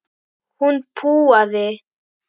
Hún púaði.